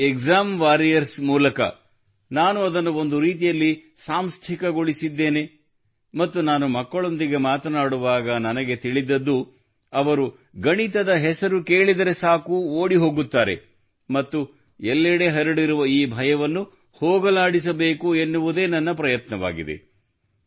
ಮತ್ತು exam warrior ಮೂಲಕ ನಾನು ಅದನ್ನು ಒಂದು ರೀತಿಯಲ್ಲಿ ಸಾಂಸ್ಥಿಕಗೊಳಿಸಿದ್ದೇನೆ ಮತ್ತು ನಾನು ಮಕ್ಕಳೊಂದಿಗೆ ಮಾತನಾಡುವಾಗ ನನಗೆ ತಿಳಿದದ್ದು ಅವರು ಗಣಿತದ ಹೆಸರು ಕೇಳಿದರೆ ಸಾಕು ಓಡಿಹೋಗುತ್ತಾರೆ ಮತ್ತು ಎಲ್ಲೆಡೆ ಹರಡಿರುವ ಈ ಭಯವನ್ನು ಹೋಗಲಾಡಿಸಬೇಕು ಎನ್ನುವುದೇ ನನ್ನ ಪ್ರಯತ್ನವಾಗಿದೆ